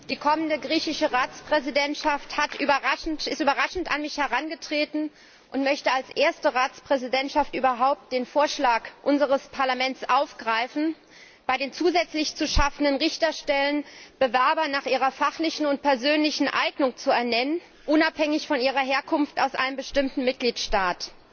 Die kommende griechische Ratspräsidentschaft ist überraschend an mich herangetreten und möchte als erste Ratspräsidentschaft überhaupt den Vorschlag unseres Parlaments aufgreifen, bei den zusätzlich zu schaffenden Richterstellen Bewerber nach ihrer fachlichen und persönlichen Eignung zu benennen, unabhängig von ihrer Herkunft aus einem bestimmten Mitgliedstaat.